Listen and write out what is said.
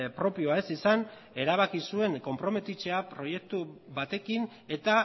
propioa ez izan erabaki zuen konprometitzea proiektu batekin eta